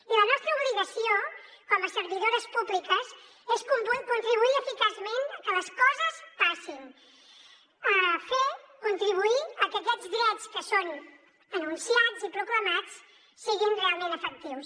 i la nostra obligació com a servidores públiques és contribuir eficaçment a que les coses passin fer contribuir a que aquests drets que són enunciats i proclamats siguin realment efectius